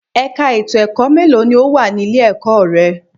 Ẹ̀ka ètò ẹ̀kọ́ mélòó ni ó wà ní ilé-ẹ̀kọ́ rẹ?